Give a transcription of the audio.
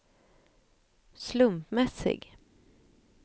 slumpmässig